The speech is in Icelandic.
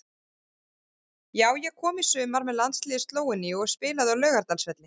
Já ég kom í sumar með landsliði Slóveníu og spilaði á Laugardalsvelli.